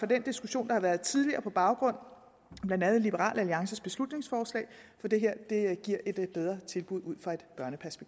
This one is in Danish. den diskussion der har været tidligere på baggrund af blandt andet liberal alliances beslutningsforslag for det her giver et bedre tilbud